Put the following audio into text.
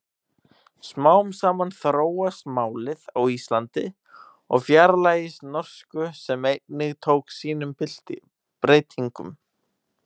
Smám saman þróast málið á Íslandi og fjarlægist norsku sem einnig tók sínum breytingum.